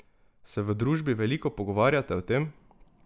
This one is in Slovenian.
Se v družbi veliko pogovarjate o tem?